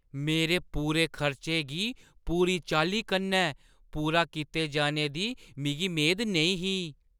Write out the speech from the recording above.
मेरे पूरे खर्चें गी पूरी चाल्ली कन्नै पूरा कीते जाने दी मिगी मेद नेईं ही।